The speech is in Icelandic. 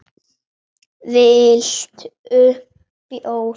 Viltu bjór?